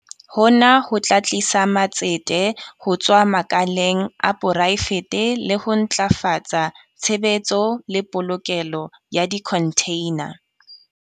Hona ho tla tlisa matsete ho tswa makaleng a poraefete le ho ntlafatsa tshebetso le polokelo ya dikhontheina.